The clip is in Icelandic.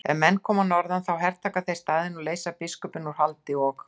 Ef menn koma að norðan þá hertaka þeir staðinn og leysa biskupinn úr haldi og.